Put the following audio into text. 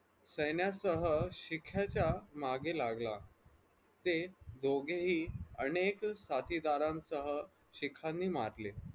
सैन्यासह शिक्याच्या मागे लागला ते दोघेही अनेक साथीदारांसह शिख्यानी मारले.